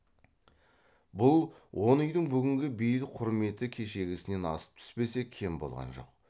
бұл он үйдің бүгінгі бейіл құрметі кешегісінен асып түспесе кем болған жоқ